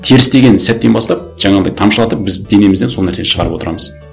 теріс деген сәттен бастап жаңағындай тамшылатып біз денемізден сол нәрсені шығарып отырамыз